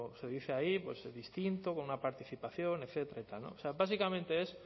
se dice ahí pues distinto con una participación etcétera o sea básicamente es